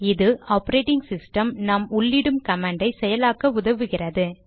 இது operating system நாம் உள்ளிடும் கமாண்டை செயலாக்க உதவுகிறது